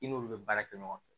I n'olu bɛ baara kɛ ɲɔgɔn fɛ